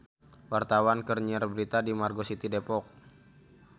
Wartawan keur nyiar berita di Margo City Depok